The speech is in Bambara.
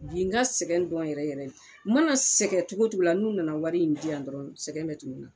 Bi n ka sɛgɛn dɔn yɛrɛ yɛrɛ n mana sɛgɛn cogo o cogo la n'u nana wari in di yan dɔrɔn sɛgɛn bɛ tunu n na